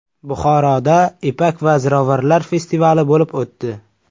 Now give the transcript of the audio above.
Buxoroda Ipak va ziravorlar festivali bo‘lib o‘tdi .